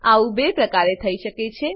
આવું 2 પ્રકારે થઇ શકે છે 1